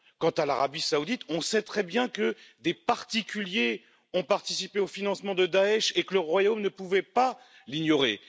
Quant à l'Arabie saoudite, on sait très bien que des particuliers ont participé au financement de Daech et que le royaume ne pouvait l'ignorer.